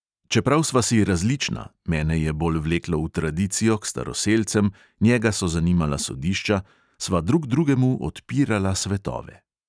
Čeprav sva si različna – mene je bolj vleklo v tradicijo, k staroselcem, njega so zanimala sodišča – sva drug drugemu odpirala svetove.